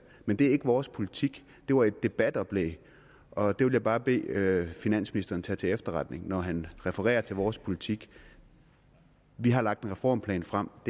men det er ikke vores politik det var et debatoplæg og det vil jeg bare bede finansministeren tage til efterretning når han refererer til vores politik vi har lagt en reformplan frem og